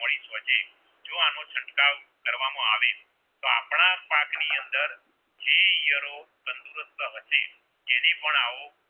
આવો